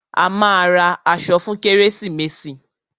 A máa ra aṣọ fún kérésìmesì.